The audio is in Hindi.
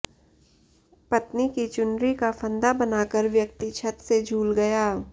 पत्नी की चुनरी का फंदा बनाकर व्यक्ति छत से झूल गया